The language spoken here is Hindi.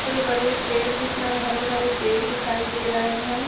छोटे-बड़े पेड़ दिख रहे हैं। हरे-भरे पेड़ दिखाई दे रहे हैं।